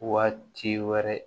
Waati wɛrɛ